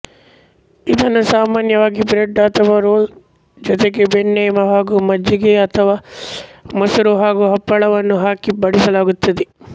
ಇದನ್ನು ಸಾಮಾನ್ಯವಾಗಿ ಬ್ರೆಡ್ ಅಥವಾ ರೋಲ್ಸ್ ಜೊತೆಗೆ ಬೆಣ್ಣೆ ಹಾಗೂ ಮಜ್ಜಿಗೆ ಅಥವಾ ಮೊಸರು ಹಾಗೂ ಹಪ್ಪಳವನ್ನು ಹಾಕಿ ಬಡಿಸಲಾಗುತ್ತದೆ